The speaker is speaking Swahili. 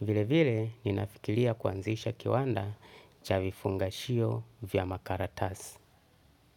Vile vile, ninafikiria kuanzisha kiwanda cha vifungashio vya makaratasi.